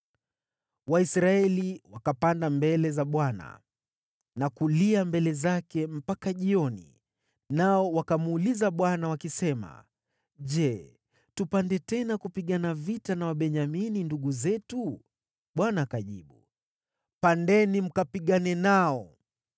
Waisraeli wakapanda mbele za Bwana na kulia mbele zake mpaka jioni, nao wakamuuliza Bwana wakisema, “Je, tupande tena kupigana vita na Wabenyamini, ndugu zetu?” Bwana akajibu, “Pandeni mkapigane nao.”